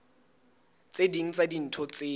tse ding tsa dintho tseo